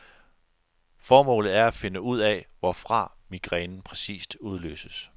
Formålet er at finde ud af, hvorfra migrænen præcist udløses.